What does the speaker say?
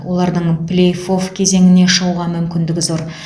олардың плей офф кезеңіне шығуға мүмкіндігі зор